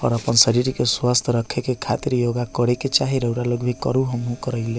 अपन-अपन शरीर के स्वस्थ रखे के खातिर योगा करे के चाही रउरा लोग भी करू हम्हू करये हीये।